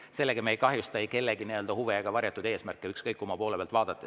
Sellega me ei kahjusta kellegi huve ega ole sel ka varjatud eesmärke, ükskõik kumma poole pealt vaadata.